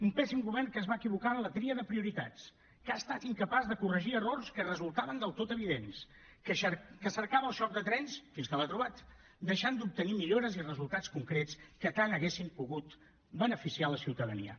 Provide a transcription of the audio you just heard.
un pèssim govern que es va equivocar en la tria de prioritats que ha estat incapaç de corregir errors que resultaven del tot evidents que cercava el xoc de trens fins que l’ha trobat deixant d’obtenir millores i resultats concrets que tant haguessin pogut beneficiar la ciutadania